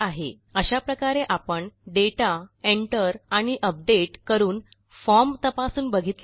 अशा प्रकारे आपण दाता enter आणि अपडेट करून फॉर्म तपासून बघितला आहे